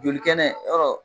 Joli kɛnɛ yɔrɔ